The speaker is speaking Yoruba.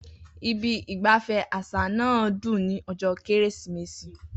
Ibi ìgbafẹ́ àṣà náà dùn ní ọjọ́ Kérésìmesì.